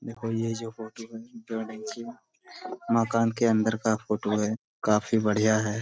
देखो यह जो फोटो है मकान के अंदर का फोटो है काफी बढ़िया है।